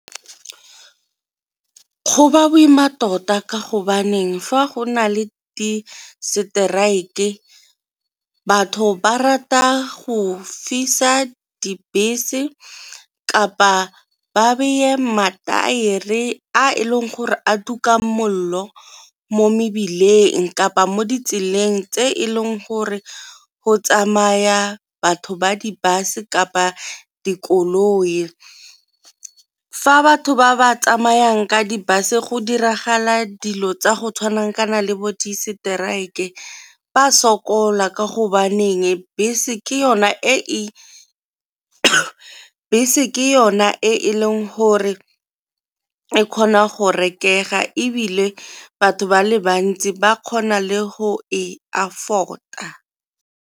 Go ba boima tota ka go baneng fa go nale di-strike batho ba rata go fisa dibese kapa ba beye mataere a e leng gore a tuka mollo mo mebileng, kapa mo ditseleng tse e leng gore go tsamaya batho ba di-bus kapa dikoloi. Fa batho ba ba tsamayang ka di-bus go diragala dilo tsa go le bo di-strike ba sokola ka go baneng bese ke yona e e leng gore e kgona go rekaga ebile batho ba le bantsi ba kgona le go e afford-a.